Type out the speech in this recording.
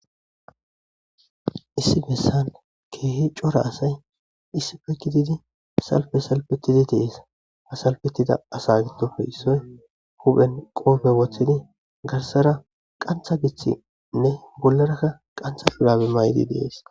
Issi besran kehi cora asay issippe gididi salfe salfetidi de'es.ha salfetida asa giddope issoy huphen qofe wothidigarssara qantha gixidinne bollara qantha shurabe mayidi de'es.